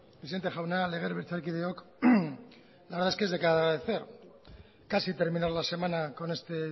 presidente jauna legebiltzarkideok la verdad es que es de agradecer casi terminar la semana con este